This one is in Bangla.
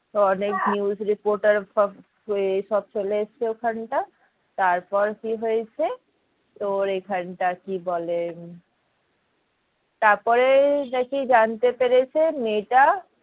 তো অনেক news reporter সব সব চলে এসছে ওখানটায় তারপর কি হয়েছে তোর এখানকার কি বলে তারপরে নাকি জানতে পেরেছে মেয়েটা